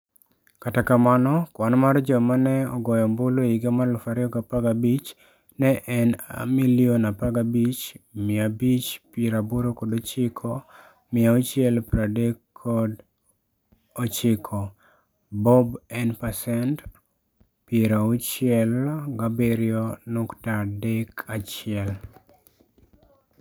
Kata kamano, kwan mar joma ne ogoyo ombulu e higa mar 2015 ne en 15,589,639 Bob en pasent 67.31.